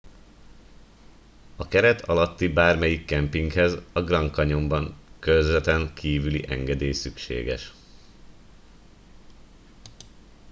a keret alatti bármelyik kempinghez a grand canyonban körzeten kivüli engedély szükséges